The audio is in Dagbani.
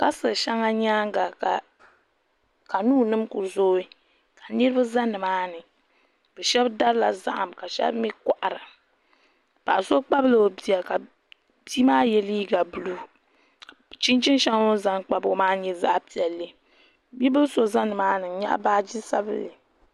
Kastil sheŋa nyaanga kanuu nima kuli zoo ka niriba za nimaani bɛ sheba darila zahim bɛ sheba kohara paɣa so kpabi la o bia ka bia maa ye liiga buluu chinchini sheli o ni zaŋ kpabi o maa nyɛla zaɣa piɛlli bibili so za nimaani n nyaɣi baaji sabinli.